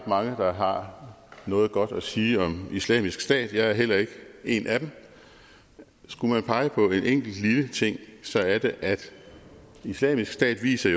mange der har noget godt at sige om islamisk stat og jeg er heller ikke en af dem skulle man pege på en enkelt lille ting så er det at islamisk stat jo viser